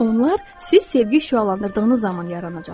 Onlar siz sevgi şüalandırdığınız zaman yaranacaqdır.